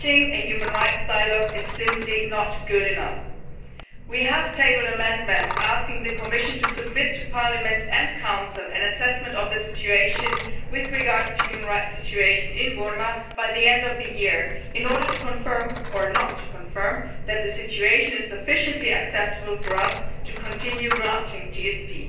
Launching a human rights dialogue is simply not good enough. We have tabled amendments asking the Commission to submit to Parliament and the Council an assessment of the situation with regard to the human rights situation in Burma by the end of the year in order to confirm, or otherwise, that the situation is sufficiently acceptable for us to continue granting GSP.